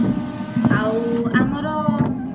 ଆଉ ଆମର